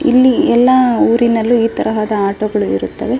ಇಲ್ಲಿ ಎಲ್ಲ ಊರಿನಲ್ಲಿ ಈ ತರಹದ ಆಟಗಳು ಇರುತ್ತವೆ.